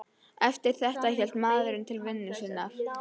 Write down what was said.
Eftir þetta hélt maðurinn til vinnu sinnar.